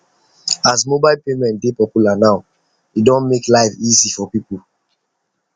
as mobile payment dey popular now e don make life easy for people